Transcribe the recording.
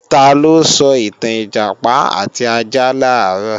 Taló sọ ìtàn Ìjàpá àti ajá làárọ̀?